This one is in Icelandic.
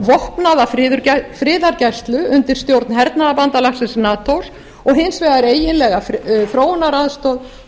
vopnaða friðargæslu undir stjórn hernaðarbandalagsins natos og hins vegar eiginlega þróunaraðstoð